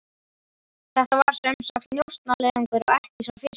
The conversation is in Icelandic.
Þetta var sem sagt njósnaleiðangur, og ekki sá fyrsti.